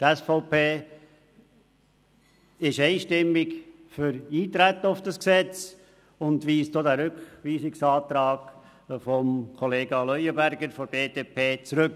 Die SVP ist einstimmig für Eintreten auf das Gesetz und weist auch den Rückweisungsantrag von Kollega Leuenberger von der BDP zurück.